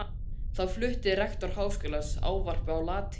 Þá flutti rektor Háskólans ávarp á latínu.